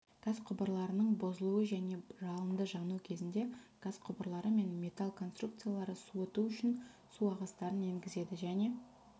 газ құбырларының бұзылуы және жалынды жану кезінде газ құбырлары мен металл конструкцияларды суыту үшін су ағыстарын енгізеді және